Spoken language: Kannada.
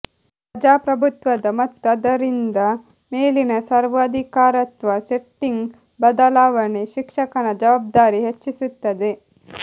ಪ್ರಜಾಪ್ರಭುತ್ವದ ಮತ್ತು ಆದ್ದರಿಂದ ಮೇಲಿನ ಸರ್ವಾಧಿಕಾರತ್ವ ಸೆಟ್ಟಿಂಗ್ ಬದಲಾವಣೆ ಶಿಕ್ಷಕನ ಜವಾಬ್ದಾರಿ ಹೆಚ್ಚಿಸುತ್ತದೆ